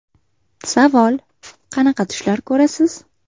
Savol: Qanaqa tushlar ko‘rasiz?